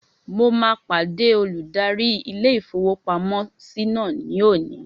Mo máa pàdé olùdarí ilé-ìfowópamọ́sí náà ní òní